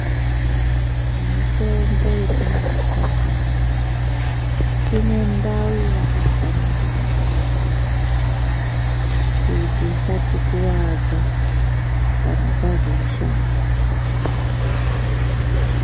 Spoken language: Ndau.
Mitombo yetinorapwa ndiyo inendau yeyakafanire kungwaririrwa, kuti isatikuvadza, kana tazoishandisa.